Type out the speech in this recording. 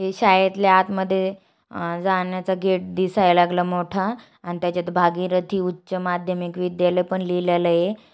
हे शाळेतले आत मधे अ जाण्याचा गेट दिसाय लागला मोठा आणि त्याच्यात भागीरथी उच्छ माध्यमिक विद्यालय पण लिहलेल आहे.